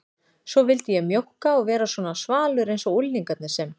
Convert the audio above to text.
Svo vildi ég mjókka og vera svona svalur einsog unglingarnir sem